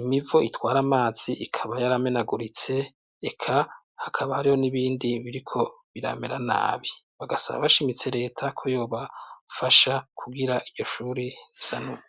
imivo itwara amazi ikaba yaramenaguritse, eka hakaba hariho n'ibindi biriko biramera nabi. Bagasaba bashimitse leta ko yobafasha kugira iryo shuri risanurwe.